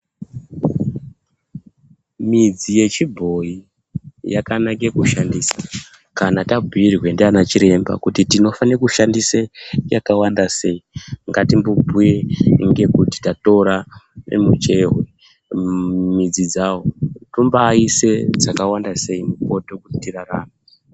Midzi yechibhoyi yakanake kushandisa kana tabhuyirwe ndaana chiremba kuti tinofanire kushandise yakawanda sei. Ngatimbobhuye ngekuti tatora yemuchehwe, midzi dzawo, tombaise dzakawanda sei mupoto kuti tirarame.